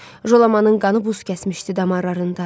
Jolamanın qanı buz kəsmişdi damarlarında.